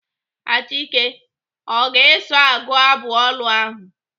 Achike ọ ga-eso agụ abụ olu ahụ?